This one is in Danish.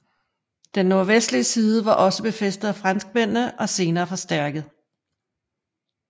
Den nordvestlige side var også blevet befæstet af franskmændene og senere forstærket